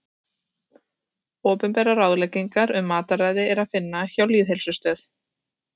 Opinberar ráðleggingar um mataræði er að finna hjá Lýðheilsustöð.